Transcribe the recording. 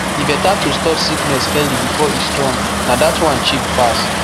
e better to stop sickness early before e strong na that one cheap pass